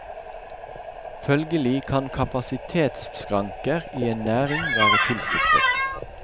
Følgelig kan kapasitetsskranker i en næring være tilsiktet.